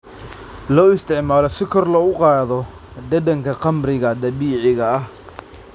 Loo isticmaalo si kor loogu qaado dhadhanka khamriga dabiiciga ah.